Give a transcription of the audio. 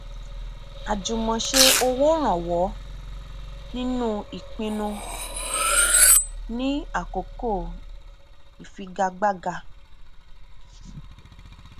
àjùmọṣe owó rànwọ nínú ipinnu ni àkókò ìfigagbága